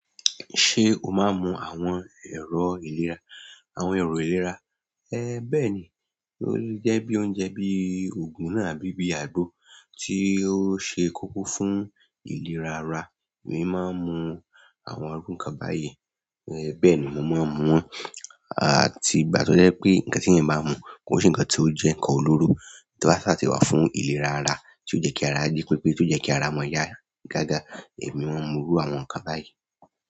Ṣé o máa ń mu àwọn ẹ̀rọ ìlera, àwọn ẹ̀rọ ìlera? Ẹ bẹ́ẹ̀ ni, ó jẹ́ bí oúnjẹ bíi ògùn náà àbí bí àgbo tí ó ṣe kókó fún ìlera ara. Èmi máa ń mu àwọn irù kan báyìí, bẹ́ẹ̀ ni mo máa ń mu àti ìgbà tí ó jẹ́ pé ǹkan tí ènìyàn bá mu kó ṣe ǹkan tí ó jẹ́ ǹkan olóró tí ó sáàtì wà fún ìlera ara, tí ó jẹ́ kí ara jí pípé, tí ó jẹ́ kí ara mọ́ yá gágá. Èmi máa ń mú irú àwọn ǹkan báyìí.